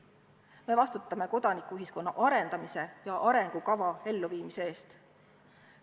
Me vastutame kodanikuühiskonna arendamise ja arengukava elluviimise eest.